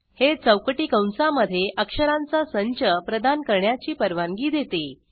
हे चौकटी कंसामधे अक्षरांचा संच प्रदान करण्याची परवानगी देते